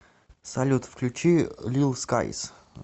салют включи лил скайс